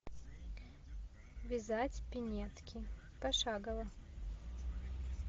вязать пинетки пошагово